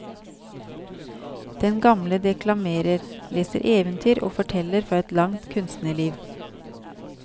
Den gamle deklamerer, leser eventyr og forteller fra et langt kunstnerliv.